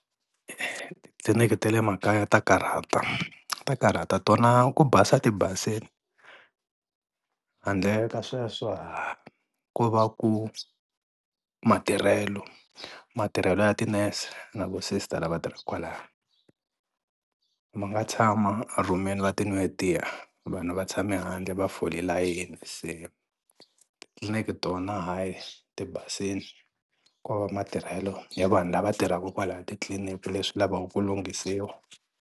Titliliniki ta le makaya ta karhata ta karhata tona ku basa tibasile handle ka sweswo haa ko va ku matirhelo matirhelo ya ti-nurse na vo sister lava tirhaka kwala ma nga tshama rhumini va ti nwela tiya vanhu va tshame handle va fole layeni se tikliniki tona hayi tibasile ko va matirhelo ya vanhu lava tirhaka kwalaya titliliniki leswi lavaka ku lunghisiwa.